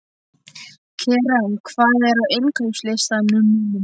Keran, hvað er á innkaupalistanum mínum?